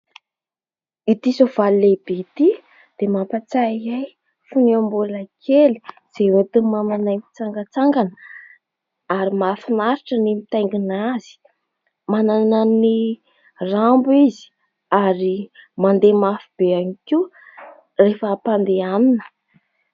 Ity soavaly lehibe ity dia mampatsiahy ahy fony aho mbola kely izay entin'i mamanay mitsangatsangana ary mahafinaritra ny mitaingina azy. Manana ny rambo izy ary mandeha mafy be ihany koa rehefa hampandehanina.